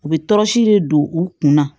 U bɛ tɔɔrɔsi de don u kunna